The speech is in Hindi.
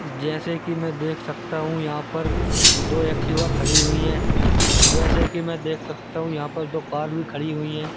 जैसे कि मैं देख सकता हूं यहां पर दो एक्टिवा खड़ी हुई है जैसे कि मैं देख सकता हूं यहां पर तो कार भी खड़ी हुई है।